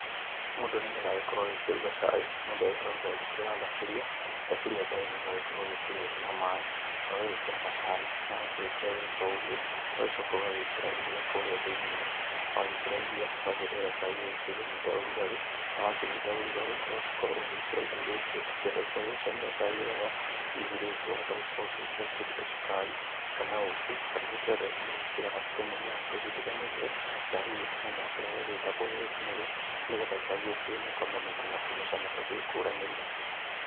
Mũndũ nĩ getha agĩkorwo agĩkĩruga cai mũndũ agĩkoragwo agĩkĩoya thaburia, thaburia ta ĩno ũgagĩkorwo ũgĩkĩra maaĩ na ũgagĩkĩra macani. Na wakĩrĩkia gũgĩkĩra ũgagĩcoka ũgagĩkĩra iria kũrĩa thĩinĩ wagĩkĩra iria ũgagĩeterera cai ũkĩnyite ũrũgarĩ na wakĩnyita ũrũgarĩ, ũgagĩkorwo ũgĩgĩkĩra indo iria ingĩ ũngĩkĩenda cia gũgĩcamia cai wega hihi ringĩ wa hota gũkorwo ũgĩgĩkĩra kĩndũ ta cukari kana ũkĩ. Kana gũkĩrĩ andũ angĩ magĩkĩraga tũmĩmera tũgĩtiganĩte ta hihi kamũmera karĩa gagĩtagwo rose mary nĩ getha cai ũkĩgĩe na kamũnungo na kamũcamo gagĩtiganĩte.